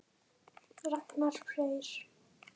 Ragnar Freyr.